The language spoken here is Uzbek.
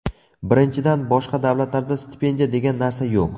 Birinchidan, boshqa davlatlarda stipendiya degan narsa yo‘q.